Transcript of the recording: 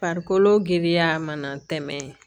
Farikolo giriya mana tɛmɛ